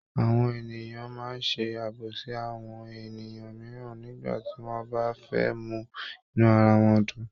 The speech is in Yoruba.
Àwọn ènìyàn máa ń ṣe àbọ̀sí àwọn ènìyàn mìíràn nígbà tí wọ́n bá fẹ́ mú inú ara wọn dùn.